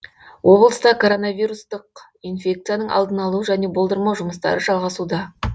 облыста коронавирустық инфекцияның алдын алу және болдырмау жұмыстары жалғасуда